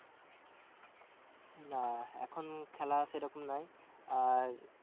না এখন খেলা সেরকম নাই, আর